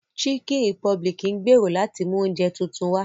Chicken republic ń gbèrò láti mú oúnjẹ tuntun wá